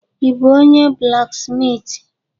Ị bụ onye blaksmitị?